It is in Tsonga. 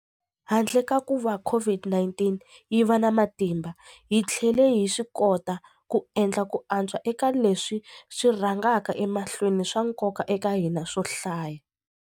Handle ka kuva COVID-19 yi va na matimba, hi tlhele hi swikota ku endla ku antswa eka leswi swi rhangaka emahlweni swa nkoka eka hina swo hlaya.